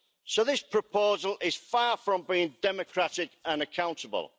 So this proposal is far from being democratic and accountable.